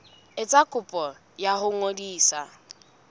etsa kopo ya ho ngodisa